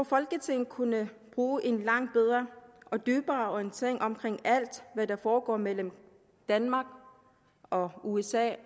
folketinget kunne bruge en langt bedre og dybere orientering om alt hvad der foregår mellem danmark og usa